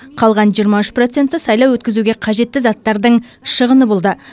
қалған жиырма үш проценті сайлау өткізуге қажетті заттардың шығыны болды